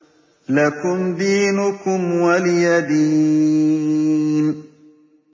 لَكُمْ دِينُكُمْ وَلِيَ دِينِ